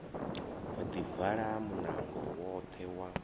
ḓi vala munango woṱhe wa